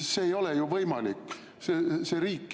See ei ole ju võimalik.